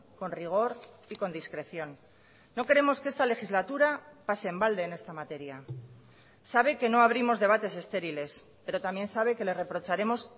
con rigor y con discreción no queremos que esta legislatura pase en balde en esta materia sabe que no abrimos debates estériles pero también sabe que le reprocharemos